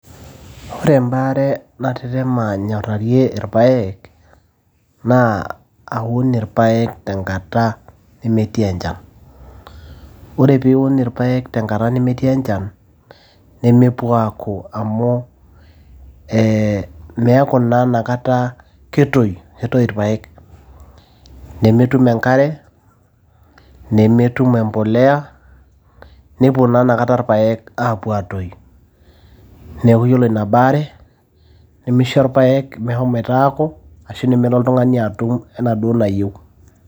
ore ebaare natetema anyorarie irpaek naa aun irpaek tengata nemetii enchan, ore pee iun irpaek tangata nemetii enchan nemepuo aaku amu meeku naa inakata ketuoyu ,nemetum enkare, nemetum embolea, nepuo naa inakata irpaek apuo aatoyu, neeku ore ina baare nimisho irpaek meshomoto aaku, ashu neme oltung'ani atum enaa duo enayieu.